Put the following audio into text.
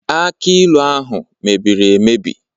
Akj ilu ahụ mere mmebi